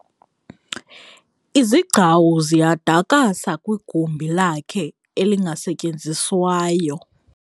Izigcawu ziyadakasa kwigumbi lakhe elingasetyenziswayo.